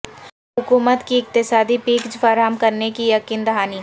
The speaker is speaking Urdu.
حکومت کی اقتصادی پیکج فراہم کرنے کی یقین دہانی